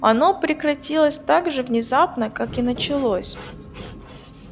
оно прекратилось так же внезапно как и началось